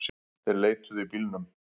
Þeir leituðu í bílunum